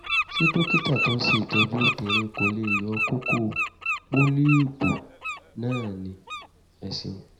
ṣé dókítà tó ń ṣe ìtọ́jú obìnrin kò lè yọ kókó (pólíìpù) náà ni? ẹ ṣeun